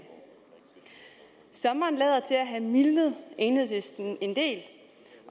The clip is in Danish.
sommeren lader til at have mildnet enhedslisten en del